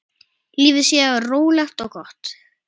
Lífið sé rólegt og gott.